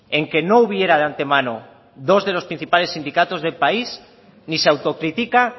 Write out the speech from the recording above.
en que no hubiera de antemano dos de los principales sindicatos del país ni se autocritica